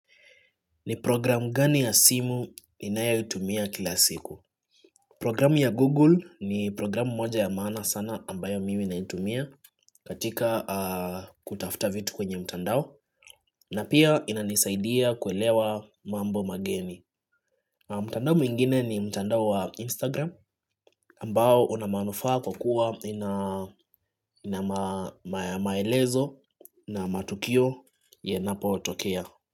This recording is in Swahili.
Ni programu gani ya simu ninayoitumia kila siku? Programu ya Google ni programu moja ya maana sana ambayo mimi naitumia katika kutafuta vitu kwenye mtandao na pia inanisaidia kuelewa mambo mageni mtandao mwingine ni mtandao wa Instagram ambao una manufaa kwa kwa ina maelezo na matukio yanapotokea.